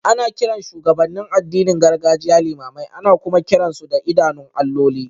Ana kiran shugabannin addinin gargajiya limamai, ana kuma kiran su da idanun alloli.